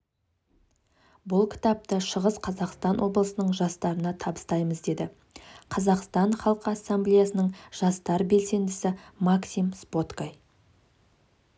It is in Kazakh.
бұл кітапты шығыс қазақстан облысының жастарына табыстаймыз деді қазақстан халқы ассамблеясының жастар белсендісі максим споткай